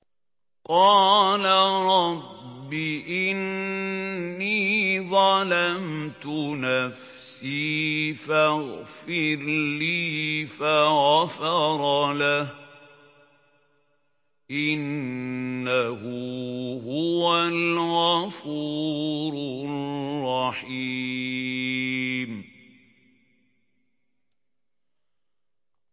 قَالَ رَبِّ إِنِّي ظَلَمْتُ نَفْسِي فَاغْفِرْ لِي فَغَفَرَ لَهُ ۚ إِنَّهُ هُوَ الْغَفُورُ الرَّحِيمُ